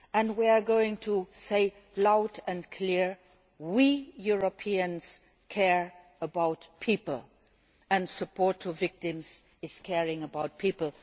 We are going to say loud and clear we Europeans care about people' and support to victims is about caring about people.